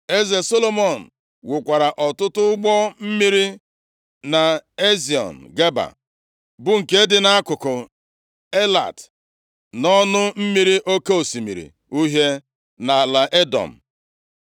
Eze Solomọn wukwara ọtụtụ ụgbọ mmiri nʼEziọn Geba, + 9:26 Obodo Eziọn Geba dị nʼakụkụ Elat nʼala Edọm, baara Solomọn uru nʼebe ọ dị ukwu nʼihi osimiri Uhie na oke osimiri India dị ya nso. \+xt Ọnụ 33:35; Dit 2:8; 1Ez 22:48\+xt* bụ nke dị nʼakụkụ Elat, nʼọnụ mmiri Oke osimiri Uhie nʼala Edọm.